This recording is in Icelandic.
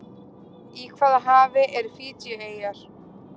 Í hvaða hafi eru Fiji-eyjar?